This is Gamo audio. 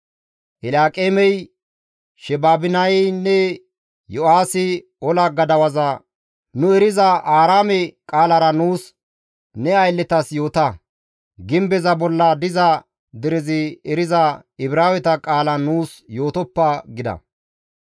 Elyaaqeemey, Sheebinaynne Yo7aahi ola gadawaza, «Nu eriza Aaraame qaalara nuus ne aylletas yoota; gimbeza bolla diza derezi eriza, Ibraaweta qaalan nuus yootoppa» gida.